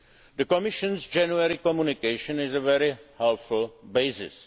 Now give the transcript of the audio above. December. The Commission's January communication is a very helpful